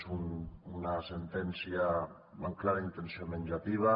és una sentència amb clara intenció venjativa